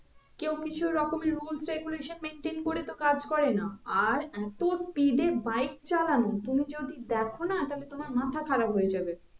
কেও কিছু রকমের rules regulation maintain করে তো কাজ করে না আর এতো speed এ bike চালানো তুমি যদি দেখো না তাহলে তোমার মাথা খারাপ হয়ে যাবে